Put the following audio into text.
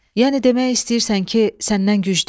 Yəni demək istəyirsən ki, səndən güclüyəm?